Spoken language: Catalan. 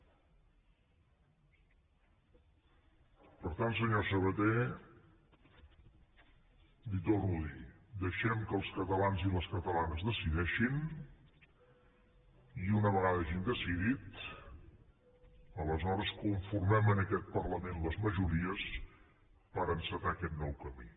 per tant senyor sabaté li ho torno a dir deixem que els catalans i les catalanes decideixin i una vegada hagin decidit aleshores conformem en aquest parlament les majories per encetar aquest nou camí